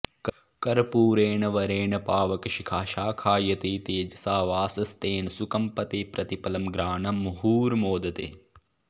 कर्पूरेण वरेण पावकशिखा शाखायते तेजसा वासस्तेन सुकम्पते प्रतिपलं घ्राणं मुहुर्मोदते